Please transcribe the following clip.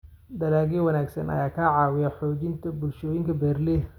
Dalagyo wanaagsan ayaa ka caawiya xoojinta bulshooyinka beeralayda.